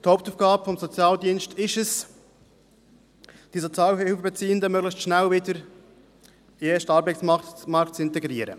Die Hauptaufgabe des Sozialdienstes ist es, die Sozialhilfebeziehenden möglichst rasch wieder in den Erstarbeitsmarkt zu integrieren.